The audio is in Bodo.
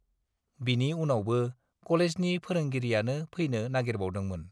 बिनि उनावबो कलेजनि फोरोंगिरियानो फैनो नागिरबावदोंमोन।